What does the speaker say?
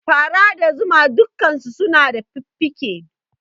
Fara da zuma dukkansu suna da fuffuke